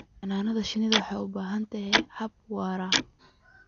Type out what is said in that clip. Xannaanada shinnidu waxay u baahan tahay hab waara.